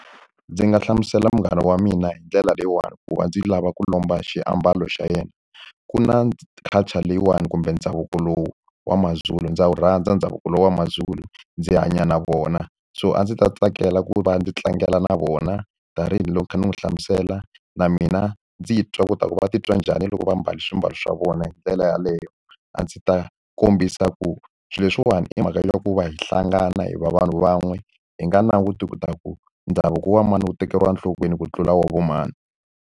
Ndzi nga hlamusela munghana wa mina hi ndlela leyiwani ku va ndzi lava ku lomba xiambalo xa yena. Ku na culture leyiwani kumbe ndhavuko lowu wa maZulu ndza wu rhandza ndhavuko lowu wa maZulu, ndzi hanya na vona. So a ndzi ta tsakela ku va ndzi tlangela na vona tanihiloko ni kha ni n'wi hlamusela na mina ndzi yi ta kota ku va titwa njhani loko va mbale swimbalo swa vona hi ndlela yaleyo. A ndzi ta kombisa ku swilo leswiwani i mhaka ya ku va hi hlangana hi va vanhu van'we, hi nga languti leswaku ndhavuko wa mali wu tekeriwa enhlokweni ku tlula wa vo mani.